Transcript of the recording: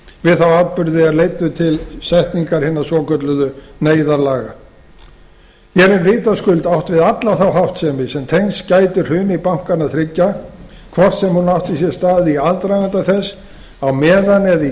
við þá atburði er leiddu til setningar hinna svokölluðu neyðarlaga hér er vitaskuld átt við alla þá háttsemi sem tengst gæti hruni bankanna þriggja hvort sem hún átti sér stað í aðdraganda þess á meðan eða í